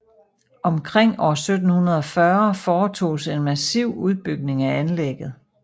Omkring år 740 foretoges en massiv udbygning af anlægget